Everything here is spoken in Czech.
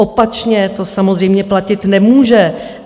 Opačně to samozřejmě platit nemůže.